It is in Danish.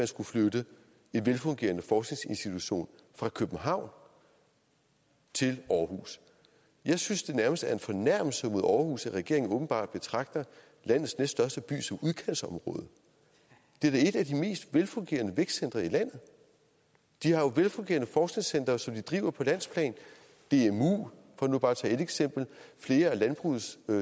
skulle flytte en velfungerende forskningsinstitution fra københavn til aarhus jeg synes nærmest det er en fornærmelse mod aarhus at regeringen åbenbart betragter landets næststørste by som udkantsområde det er da et af de mest velfungerende vækstcentre i landet de har jo velfungerende forskningscentre som de driver på landsplan dmu for nu bare at tage et eksempel og flere af landbrugets